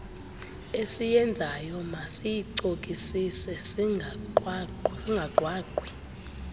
esiyenzayo masiyicokisise singagqwagqwi